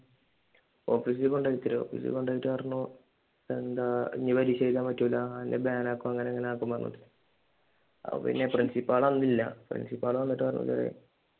ഓഫീസിൽ കൊണ്ടുപോയി അത്ര ഓഫീസിൽ കൊണ്ടു പോയിട്ട് പറഞ്ഞു എന്താ ഇനി പരീക്ഷ എഴുതാൻ പറ്റൂല്ല അല്ലെങ്കിൽ ബാൻ ആക്കും അങ്ങനെ ഇങ്ങനെ ആക്കും അപ്പോൾ പിന്നെ പ്രിൻസിപ്പാൾ അന്ന് ഇല്ല. പ്രിൻസിപ്പാൾ വന്നിട്ട് പറഞ്ഞു